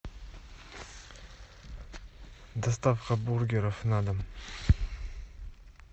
доставка бургеров на дом